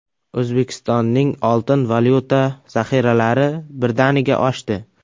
O‘zbekistonning oltin-valyuta zaxiralari birdaniga oshdi.